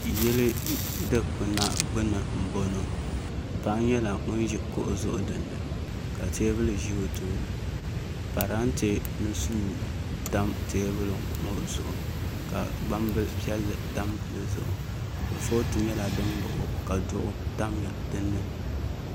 Yili dikpuna gbuni n boŋo paɣa nyɛla ŋun ʒi kuɣu zuɣu dinni ka teebuli ʒɛ o tooni parantɛ ni suu tam teebuli ŋo zuɣu ka gbambili piɛlli tam dizuɣu kurifooti nyɛla din baɣa o ka duɣu tam dinni